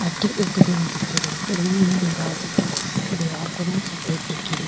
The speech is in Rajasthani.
अठे एक रूम दिखरयो रूम में दिवार दिखेरी दिवार को रंग सफेद दिखेरयो।